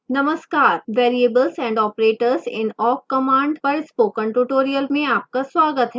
नमस्कार variables and operators in awk command पर spoken tutorial में आपका स्वागत है